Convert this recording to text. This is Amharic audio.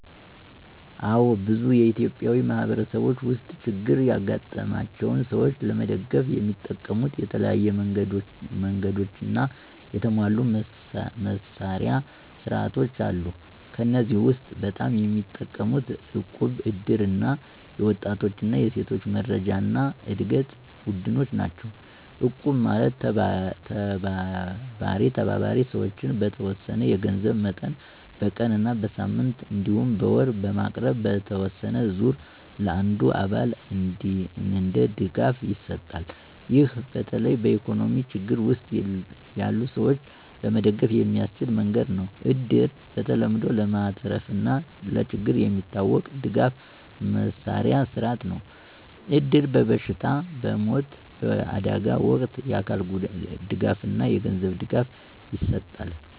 አዎን፣ በብዙ ኢትዮጵያዊ ማህበረሰቦች ውስጥ ችግር ያጋጠማቸውን ሰዎች ለመደገፍ የሚጠቀሙት የተለያዩ መንገዶችና የተሟሉ መስርያ ሥርዓቶች አሉ። ከእነዚህ ውስጥ በጣም የሚጠቀሙት እቁብ፣ እድር እና የወጣቶች እና ሴቶች መረጃና ዕድገት ቡድኖች ናቸው። እቁብ ማለት ተባባሪ ሰዎች በተወሰነ የገንዘብ መጠን በቀን እና በሳምንት እንዲሁም በወር በማቅረብ በተወሰነ ዙር ለአንዱ አባል እንደ ድጋፍ ይሰጣል። ይህ በተለይ በኢኮኖሚ ችግር ውስጥ ያሉ ሰዎች ለመደገፍ የሚያስችል መንገድ ነው። እድር በተለምዶ ለማትረፍና ለችግር የሚታወቅ ድጋፍ መስርያ ሥርዓት ነው። እድር በበሽታ፣ በሞት፣ በአደጋ ወቅት የአካል ድጋፍና የገንዘብ ድጋፍ ይሰጣል።